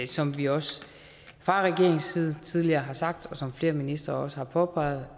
som vi også fra regeringens side tidligere har sagt og som flere ministre også har påpeget